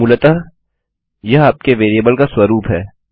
मूलतः यह आपके वेरिएबल का स्वरूप है